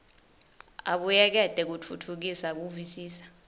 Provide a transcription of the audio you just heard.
abuyekete kutfutfukisa kuvisisa